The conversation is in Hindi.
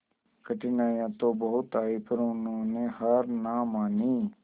कठिनाइयां तो बहुत आई पर उन्होंने हार ना मानी